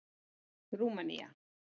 Rúmenía